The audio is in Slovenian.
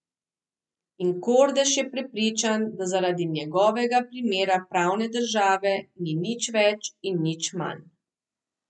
In Kordež je prepričan, da zaradi njegovega primera pravne države ni nič več in nič manj.